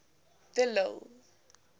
de lille